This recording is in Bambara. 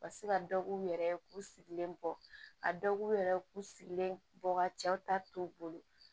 Ka se ka dɔ k'u yɛrɛ ye k'u sigilen bɔ a dɔ k'u yɛrɛ k'u sigilen bɔ ka cɛw ta to u bolo